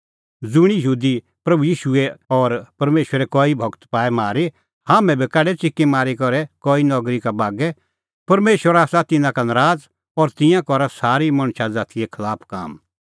ज़ुंणी यहूदी प्रभू ईशू और परमेशरे कई गूर बी पाऐ मारी हाम्हैं बी काढै च़िकीमारी करै कई नगरी का बागै परमेशर आसा तिन्नां का नराज़ और तिंयां करा सारी मणछा ज़ातीए खलाफ काम